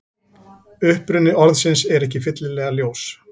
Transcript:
Uppruni orðsins er ekki fyllilega ljós.